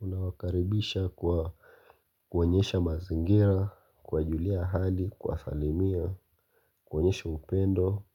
Unawakaribisha kwa kuonyesha mazingira, kuwajulia hali, kuwasalimia, kuonyesha upendo. Unawakaribisha